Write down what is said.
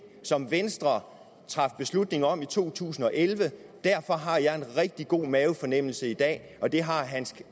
som venstre traf beslutning om i to tusind og elleve derfor har jeg en rigtig god mavefornemmelse i dag og det har herre